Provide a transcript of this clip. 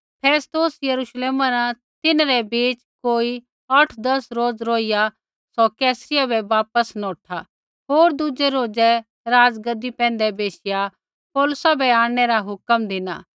फेस्तुस यरुश्लेमा न तिन्हरै बिच़ै कोई औठदस रोज़ रौहिया सौ कैसरिया बै वापस नौठा होर दूज़ै रोज़ै राज़गद्दी पैंधै बैशिया पौलुसा बै आंणनै रा हुक्मा धिना